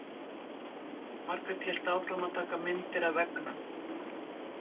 Margrét hélt áfram að taka myndir af veggnum.